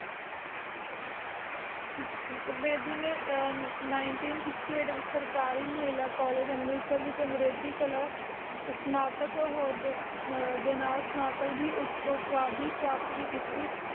ਆਚਾ ਤੇ ਬੇਦੀ ਨੇ ਨਿਨਤੀਂ ਸਿਸਟੀ ਐਘਟ ਵਿਚ ਅੰਮ੍ਰਿਤਸਰ ਮਹਿਲਾ ਕਾਲਜ ਵਿਚ ਸਤਨਾਤਗ ਹੋ ਦੀ ਉਪਵਾ ਪ੍ਰਾਪਤ ਭੀ ਕਿੱਤੀ